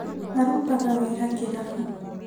Arutaga wĩra kĩrabu